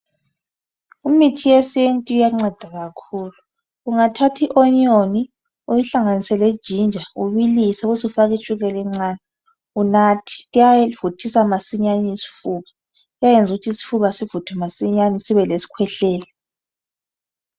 Imithi yesiNtu iyanceda kakhulu ungathathi ionyoni uyihlanganise lejinja ubilise ubusufaka itshukela encane unathe kuyavuthisa masinyane isifuba kuyayenza ukuthi isifuba sivuthwe masinyane sibe lesikhwehlela.